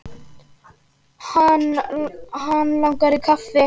Hann langar í kaffi.